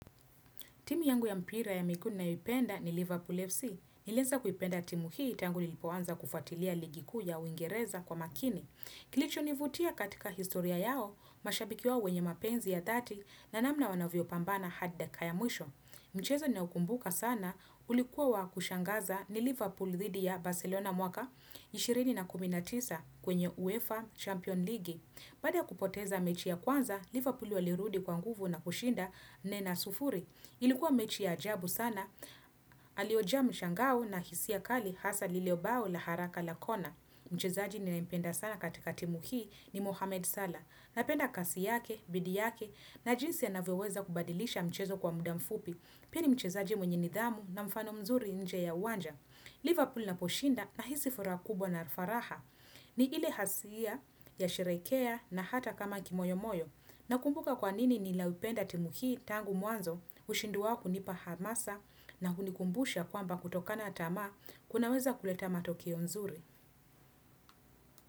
Timi yangu ya mpira ya miguu ninayoipenda ni Liverpool FC. Nilieza kuipenda timu hii tangu nilipoanza kufatilia ligi kuu ya uingereza kwa makini. Kilicho nivutia katika historia yao mashabiki wao wenye mapenzi ya thati na namna wanavyopambana hadi dakika ya mwisho. Mchezo ninaoukumbuka sana ulikuwa wa kushangaza ni Liverpool thidi ya Barcelona mwaka ishirini na kumi na tisa kwenye UEFA Champion ligi. Baada ya kupoteza mechi ya kwanza, Liverpool walirudi kwa nguvu na kushinda nne na sufuri. Ilikuwa mechi ya ajabu sana, aliojaa mshangao na hisia kali hasa lile bao la haraka la kona. Mchezaji ninayempenda sana katika timu hii ni Mohamed Salah. Napenda kasi yake, bidii yake na jinsi anavyoweza kubadilisha mchezo kwa muda mfupi. Pili ni mchezaji mwenye nidhamu na mfano mzuri nje ya uwanja. Liverpool inaposhinda nahisi furaha kubwa na faraha. Ni ile hasia ya sherekea na hata kama kimoyo moyo. Nakumbuka kwa nini ninaipenda timu hii tangu mwanzo ushindi wao kunipa hamasa na kunikumbusha kwamba kutokana tamaa kunaweza kuleta matokeo nzuri.